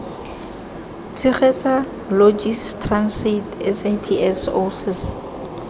tshegetsa logis transaid saps oasis